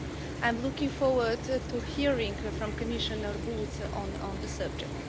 I am looking forward to hearing from Commissioner Bulc on the subject.